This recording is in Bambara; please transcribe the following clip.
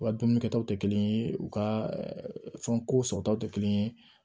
U ka dumuni kɛtaw tɛ kelen ye u ka fɛn ko sɔrɔtaw tɛ kelen ye